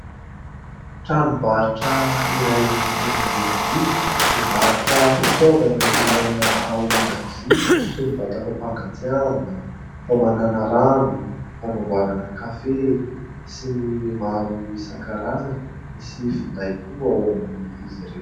Tranombarotra iray eto an-drenivohitra mivarotra fitaovana ilaina ao an-dakozia toy ny vata fampangatsiahana, famanana rano, fanamboarana kafe sy ny maro isan-karazany. Misy finday koa ao amin'izy ireo.